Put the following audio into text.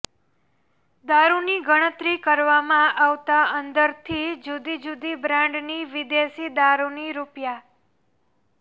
દારૂની ગણતરી કરવામાં આવતાં અંદરથી જુદીજુદી બ્રાન્ડની વિદેશી દારૂની રૂ